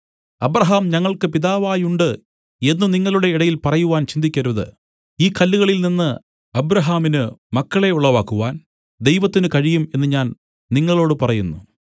Abraham ഞങ്ങൾക്കു പിതാവായുണ്ട് എന്നു നിങ്ങളുടെ ഇടയിൽ പറയുവാൻ ചിന്തിക്കരുത് ഈ കല്ലുകളിൽ നിന്നു അബ്രാഹാമിന് മക്കളെ ഉളവാക്കുവാൻ ദൈവത്തിന് കഴിയും എന്നു ഞാൻ നിങ്ങളോടു പറയുന്നു